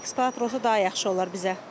Əlbəttə, eksportator olsa daha yaxşı olar bizə.